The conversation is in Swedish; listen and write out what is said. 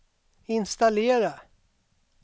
installera